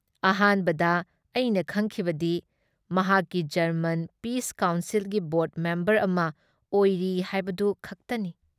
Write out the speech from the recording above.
ꯑꯍꯥꯟꯕꯗ ꯑꯩꯅ ꯈꯡꯈꯤꯕꯗꯤ ꯃꯍꯥꯛꯀꯤ ꯖꯔꯃꯟ ꯄꯤꯁ ꯀꯥꯎꯟꯁꯤꯜꯒꯤ ꯕꯣꯔ꯭ꯗ ꯃꯦꯝꯕꯔ ꯑꯃ ꯑꯣꯏꯔꯤ ꯍꯥꯏꯕꯗꯨ ꯈꯛꯇꯅꯤ